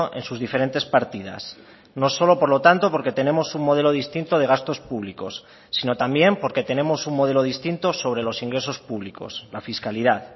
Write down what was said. en sus diferentes partidas no solo por lo tanto porque tenemos un modelo distinto de gastos públicos sino también porque tenemos un modelo distinto sobre los ingresos públicos la fiscalidad